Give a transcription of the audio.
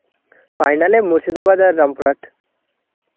final এ মুর্শিদাবাদ আর রামপুরহাট.